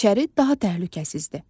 İçəri daha təhlükəsizdir.